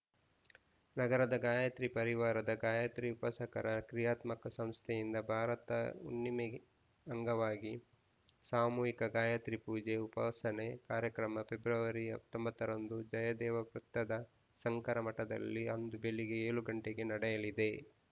ನಗರದ ಗಾಯತ್ರಿ ಪರಿವಾರದ ಗಾಯತ್ರಿ ಉಪಾಸಕರ ಕ್ರಿಯಾತ್ಮಕ ಸಂಸ್ಥೆಯಿಂದ ಭಾರತ ಹುಣ್ಣಿಮೆಗೆ ಅಂಗವಾಗಿ ಸಾಮೂಹಿಕ ಗಾಯತ್ರಿ ಪೂಜೆ ಉಪಾಸನೆ ಕಾರ್ಯಕ್ರಮ ಫೆಬ್ರವರಿ ಹತ್ತೊಂಬತ್ತರಂದು ಜಯದೇವ ವೃತ್ತದ ಶಂಕರ ಮಠದಲ್ಲಿ ಅಂದು ಬೆಳಿಗ್ಗೆ ಏಳು ಗಂಟೆಗೆ ನಡೆಯಲಿದೆ